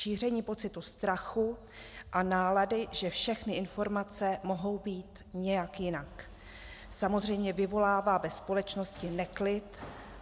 Šíření pocitu strachu a nálady, že všechny informace mohou být nějak jinak, samozřejmě vyvolává ve společnosti neklid.